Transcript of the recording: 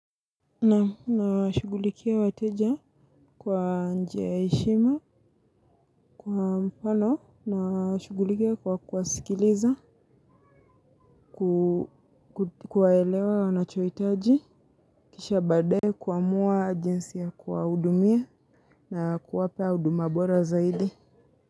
Na nashugulikia wateja kwa njia ya heshima kwa mfano na nashugulikia kwa kuwasikiliza kuwaelewa wanachohitaji kisha baade kuamua jinsi ya kuwa hudumia na kuwapea huduma bora zaidi.